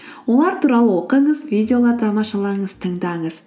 олар туралы оқыңыз видеолар тамашалаңыз тыңдаңыз